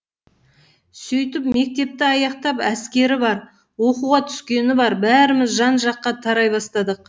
сөйтіп мектепті аяқтап әскері бар оқуға түскені бар бәріміз жан жаққа тарай бастадық